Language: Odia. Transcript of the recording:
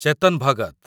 ଚେତନ ଭଗତ